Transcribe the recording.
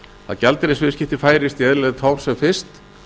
að gjaldeyrisviðskipti færist í eðlilegt horf sem fyrst